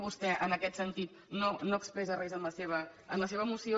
vostè en aquest sentit no expressa res en la seva moció